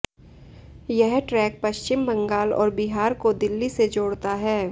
यह ट्रैक पश्चिम बंगाल और बिहार को दिल्ली से जोड़ता है